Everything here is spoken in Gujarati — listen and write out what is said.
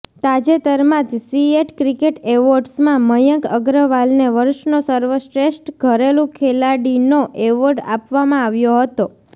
તાજેતરમાં જ સીએટ ક્રિકેટ એવોર્ડ્સમાં મયંક અગ્રવાલને વર્ષનો સર્વશ્રેષ્ઠ ઘરેલુ ખેલાડીનો એવોર્ડ આપવામાં આવ્યો હતો